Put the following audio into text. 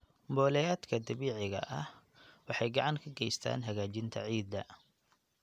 Mboleyaadka dabiiciga ah waxay gacan ka geystaan hagaajinta ciidda.